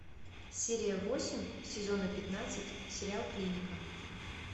серия восемь сезона пятнадцать сериал клиника